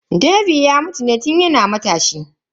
Dave ya mutu ne tun yana matashi.